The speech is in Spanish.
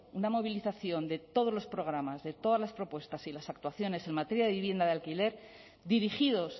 una movilización de todos los programas de todas las propuestas y las actuaciones en materia vivienda de alquiler dirigidos